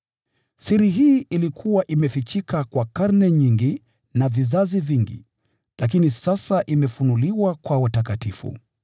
Hii ni siri iliyokuwa imefichika tangu zamani na kwa vizazi vingi, lakini sasa imefunuliwa kwa watakatifu.